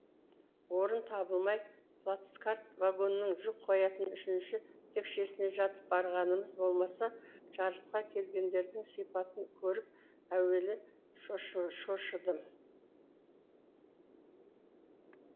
орын табылмай плацкарт вагонның жүк қоятын үшінші текшесіне жатып барғанымыз болмаса жарысқа келгендердің сипатын көріп әуелі шошыдым